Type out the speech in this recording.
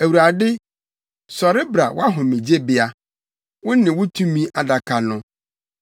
‘ Awurade, sɔre bra wʼahomegyebea, wo ne wo tumi adaka no.